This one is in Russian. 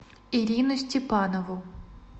ирину степанову